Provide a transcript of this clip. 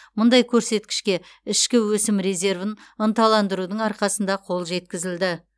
мұндай көрсеткішке ішкі өсім резервін ынталандырудың арқасында қол жеткізілді